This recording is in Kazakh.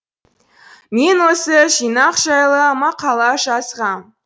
мен осы жинақ жайлы мақала жазғам